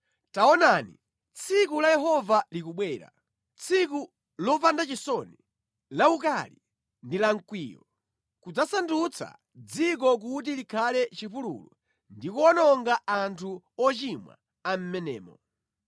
Taonani, tsiku la Yehova likubwera, tsiku lopanda chisoni, lawukali ndi lamkwiyo; kudzasandutsa dziko kuti likhale chipululu ndi kuwononga anthu ochimwa a mʼmenemo.